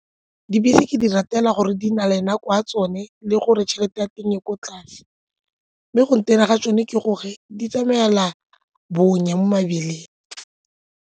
Dibese ke di ratela gore di na le nako ya tsone le gore tšhelete ya teng e ko tlase mme go ntena ga tsone ke gore di tsamaya la bonya mo mebileng.